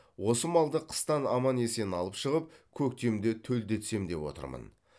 осы малды қыстан аман есен алып шығып көктемде төлдетсем деп отырмын